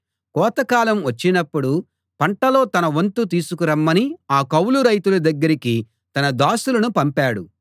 కోతకాలం వచ్చినప్పుడు పంటలో తన వంతు తీసుకు రమ్మని ఆ కౌలు రైతుల దగ్గరికి తన దాసులను పంపాడు